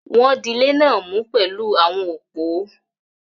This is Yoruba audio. Wọ́n dilé náà mú pẹ̀lú àwọn òpó.